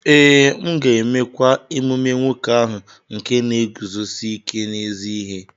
Ee, m ga-emekwa emume nwoke ahụ nke na-eguzosi ike n’ezi ihe.